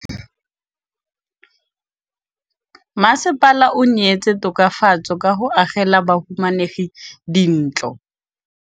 Mmasepala o neetse tokafatsô ka go agela bahumanegi dintlo.